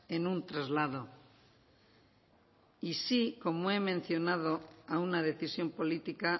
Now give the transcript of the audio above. en un traslado y sí como he mencionado a una decisión política